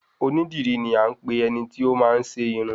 Oní dìrí ni a ń pe eniti ọ máa n ṣe Irun